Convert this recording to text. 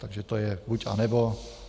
Takže to je buď, anebo.